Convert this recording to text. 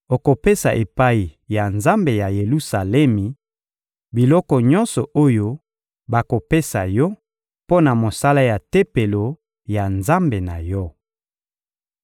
Okopesa epai ya Nzambe ya Yelusalemi, biloko nyonso oyo bakopesa yo mpo na mosala ya Tempelo ya Nzambe na yo.